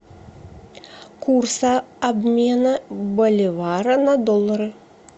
курс обмена боливара на доллары